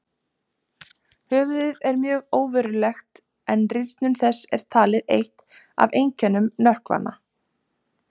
Höfuðið er mjög óverulegt, en rýrnun þess er talið eitt af einkennum nökkvanna.